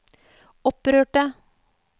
opprørte